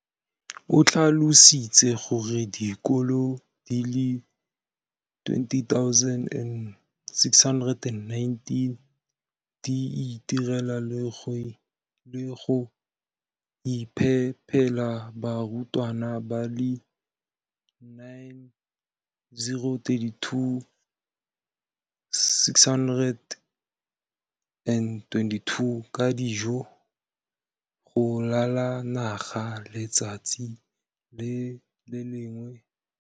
o tlhalositse gore dikolo di le 20 619 di itirela le go iphepela barutwana ba le 9 032 622 ka dijo go ralala naga letsatsi le lengwe le le lengwe.